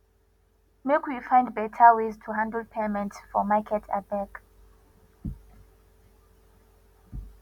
make we find better ways to handle payments for market abeg